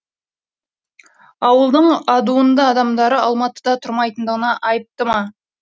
ауылдың адуынды адамдары алматыда тұрмайтындығына айыпты ма